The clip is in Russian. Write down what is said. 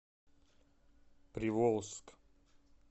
приволжск